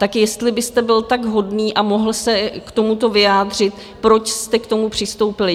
Tak jestli byste byl tak hodný a mohl se k tomuto vyjádřit, proč jste k tomu přistoupili?